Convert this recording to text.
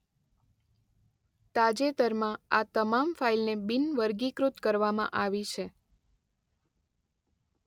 તાજેતરમાં આ તમામ ફાઇલને બિનવર્ગીકૃત કરવામાં આવી છે.